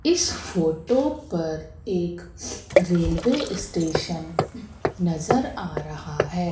इ स फोटो पर एक रेलवे स्टेशन नज़र आ रहा है।